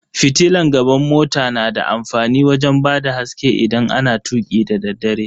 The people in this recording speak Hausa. Fitilan gaban mota na da amfani wajen bada haske idan ana tuki dadaddare.